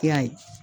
I y'a ye